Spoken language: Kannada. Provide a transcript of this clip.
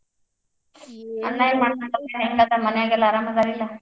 ಮನ್ಯಾಗೆಲ್ಲಾ ಆರಾಮ್ ಅದಾರಿಲ್ಲ?